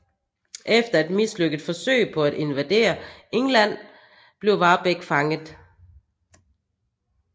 Efter et mislykket forsøg på at invadere England blev Warbeck fanget